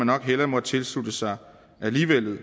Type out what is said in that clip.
nok hellere måtte tilslutte sig